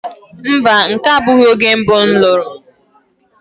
mba, nke a abụghị oge mbụ m lụrụ.